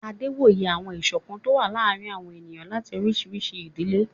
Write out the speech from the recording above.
Adé wòye àwọn ìṣọ̀kan tó ń wà láàrin àwọn ènìyàn láti oríṣiríṣi ìdílé